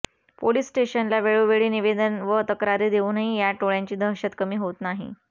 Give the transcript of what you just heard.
police स्टेशनला वेळोवेळी निवेदन व तक्रारी देऊनही या टोळ्यांची दहशत कमी होत नाही